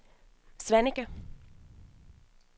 Svaneke